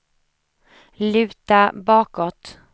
luta bakåt